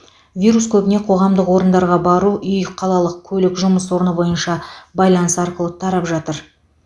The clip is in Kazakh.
вирус көбіне қоғамдық орындарға бару үй қалалық көлік жұмыс орны бойынша байланыс арқылы тарап жатыр